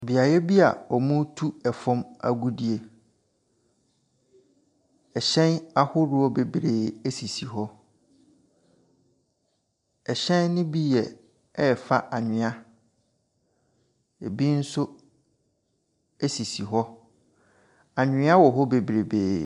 Beaeɛ bia wɔretu ɛfam agudie. Ɛhyɛn ahodoɔ bebree esisi hɔ. Ɛhyɛn no bi yɛ ɛrefa anwea. Ebi nso esisi hɔ. Anwea wɔ hɔ bebreebee.